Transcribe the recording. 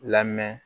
Lamɛn